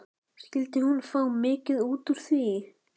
Skyldi hún fá mikið út úr því?